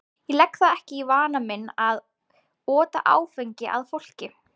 Ég legg það ekki í vana minn að ota áfengi að fólki.